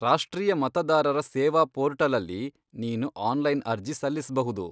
ರಾಷ್ಟ್ರೀಯ ಮತದಾರರ ಸೇವಾ ಪೋರ್ಟಲಲ್ಲಿ ನೀನು ಆನ್ಲೈನ್ ಅರ್ಜಿ ಸಲ್ಲಿಸ್ಬಹುದು.